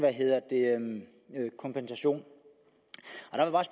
kompensation